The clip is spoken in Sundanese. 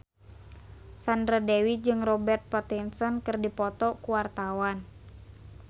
Sandra Dewi jeung Robert Pattinson keur dipoto ku wartawan